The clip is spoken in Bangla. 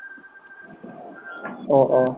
ও